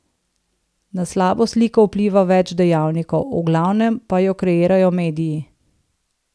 Na slabo sliko vpliva več dejavnikov, v glavnem pa jo kreirajo mediji.